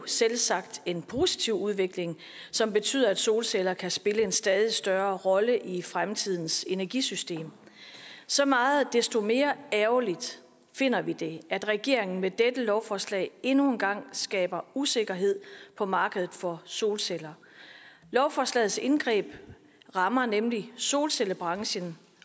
selvsagt en positiv udvikling som betyder at solceller kan spille en stadig større rolle i fremtidens energisystem så meget desto mere ærgerligt finder vi det at regeringen med dette lovforslag endnu en gang skaber usikkerhed på markedet for solceller lovforslagets indgreb rammer nemlig solcellebranchen